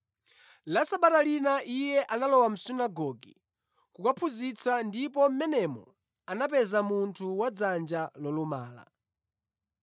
La Sabata lina Iye analowa mʼsunagoge kukaphunzitsa ndipo mʼmenemo anapeza munthu wadzanja lolumala.